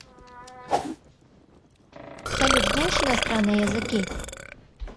салют знаешь иностранные языки